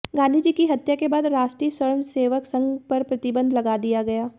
गांधी जी की हत्या के बाद राष्ट्रीय स्वयंसेवक संघ पर प्रतिबंध लगा दिया गया